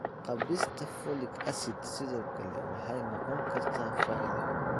Kaabista Folic acid sidoo kale waxay noqon kartaa faa'iido.